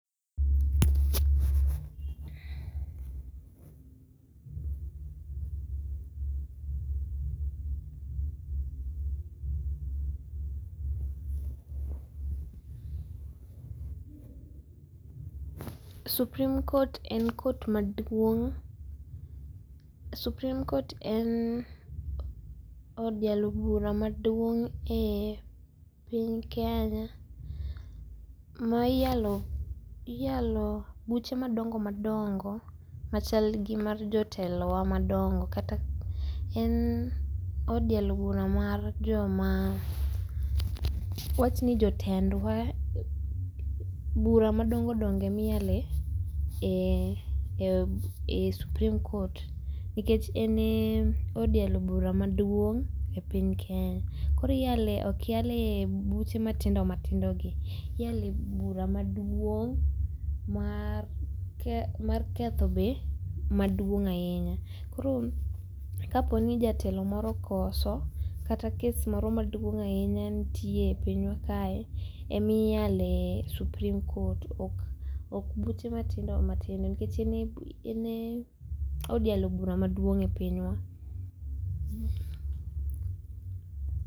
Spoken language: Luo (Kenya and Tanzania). Supreme court en cs[court]cs maduong'.supreme court en od yalo bura maduong' e piny kenya, ma iyalo buche madongo madongo machal gimar jotelowa madongo kata en od yalo bura mar joma ,wawach ni jotendwa. Bura madongo dongo ema iyale e, e cs[supreme court nikech en e od yalo bura maduong' e piny kenya. Koro iyale okyale buche matindo matindogi, iyale bura maduong' mar, mar ketho be maduong' ahinya. Koro kaponi jatelo moro okoso kata kes moro maduong' ahinya nitie e pinywa kae emiyale supreme court ok buche matindo matindo nikech en ye od yalo bura maduong' e pinywa